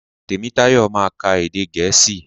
Tèmítáyọ̀ ma ka èdè gèésì.